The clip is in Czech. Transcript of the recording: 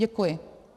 Děkuji.